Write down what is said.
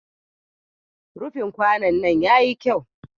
Rufin kwanon nan ya yi kyau.